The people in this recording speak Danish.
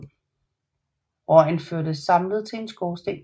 Røgen førtes samlet til en skorsten